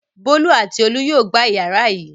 Bólú àti Olú yóò gba ìyàrá yìí.